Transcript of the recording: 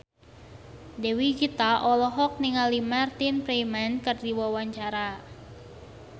Dewi Gita olohok ningali Martin Freeman keur diwawancara